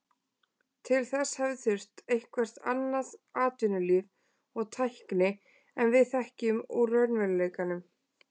Til þess hefði þurft eitthvert allt annað atvinnulíf og tækni en við þekkjum úr raunveruleikanum.